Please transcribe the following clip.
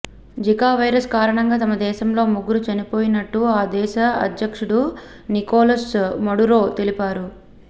Zika virus కారణంగా తమ దేశంలో ముగ్గరు చనిపోయినట్టు ఆ దేశ అధ్యక్షుడు నికోలస్ మడురో తెలిపారు